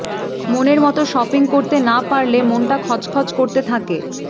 মনের মত শপিং করতে না পারলে মনটা খচখচ করতে থাকে